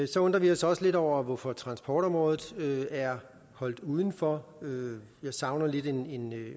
så undrer vi os også lidt over hvorfor transportområdet er holdt udenfor jeg savner lidt en